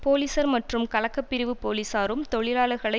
போலீஸர் மற்றும் கலகப்பரிவு போலீசாரும் தொழிலாளர்களை